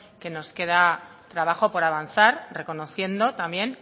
que nos queda trabajo por avanzar reconociendo también